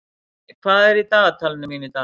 Manni, hvað er á dagatalinu mínu í dag?